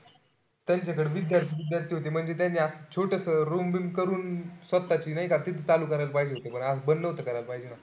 त्यांच्याकडे विद्यार्थी होते म्हणजे त्यांच्याकडे असं छोटंसं room करून स्वतःची नाई का तिथं चालू करायला पाहिजे होत. असं बंद नको करायल पाहिजे होत.